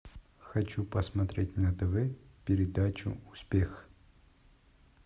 хочу посмотреть на тв передачу успех